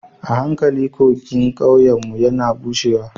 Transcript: A hankali kogin ƙauyenmu yana bushewa